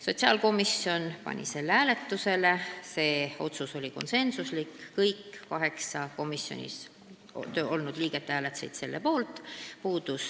Sotsiaalkomisjon pani selle hääletusele, see otsus oli konsensuslik: kõik kaheksa komisjoni istungil olnud liiget hääletasid selle poolt.